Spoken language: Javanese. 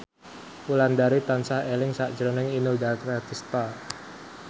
Wulandari tansah eling sakjroning Inul Daratista